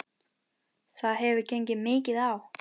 Það hefur gengið mikið á!